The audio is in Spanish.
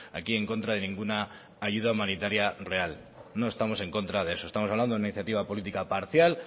aquí en contra de ninguna ayuda humanitaria real no estamos en contra de eso estamos hablando de una iniciativa política parcial